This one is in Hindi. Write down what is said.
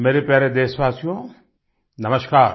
मेरे प्यारे देशवासियो नमस्कार